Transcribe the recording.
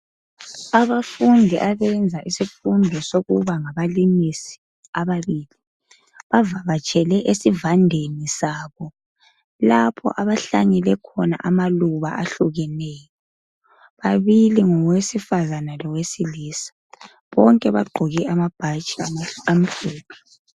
Abafundi abeza isifundo sokuba ngabalimisi ababili bavakatshele esivandeni sabo lapho abahlanyele khona amaluba ahlukeneyo, bababili ngowesifazane lowesilisa bonke bagqoke amabhatshi amhlophe.